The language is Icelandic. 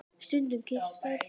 Stundum kyssast þær.